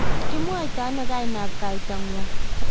kimwoitano kainab kaitang'wong'?